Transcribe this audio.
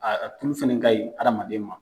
Aa tulu fɛnɛ ka ɲi hadamadema.